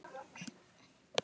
Eyríki heims eftir stærð